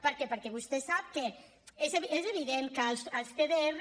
perquè vostè sap que és evident que els cdr